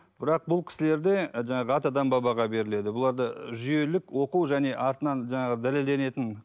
бірақ бұл кісілерде жаңағы атадан бабаға беріледі бұларда жүйелік оқу және артынан жаңағы дәлелденетін